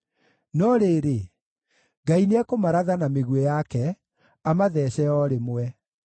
No rĩrĩ, Ngai nĩekũmaratha na mĩguĩ yake, amathece o rĩmwe.